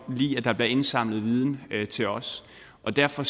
lide at der bliver indsamlet viden til os og derfor